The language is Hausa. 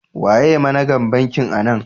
Waye managan bankin anan?